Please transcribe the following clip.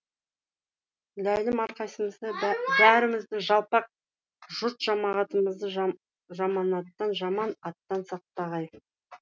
ләйім әрқайсымызды бәрімізді жалпақ жұрт жамағатымызды жаманаттан жаман аттан сақтағай